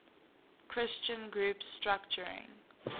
christian group structuring